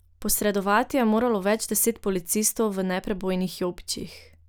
Posredovati je moralo več deset policistov v neprebojnih jopičih.